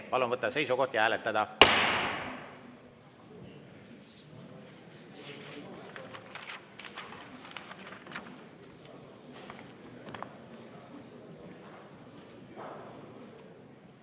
Palun võtta seisukoht ja hääletada!